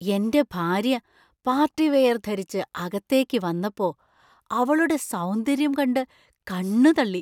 എന്‍റെ ഭാര്യ പാർട്ടിവെയര്‍ ധരിച്ച് അകത്തേക്ക് വന്നപ്പോ , അവളുടെ സൗന്ദര്യം കണ്ടു കണ്ണു തള്ളി.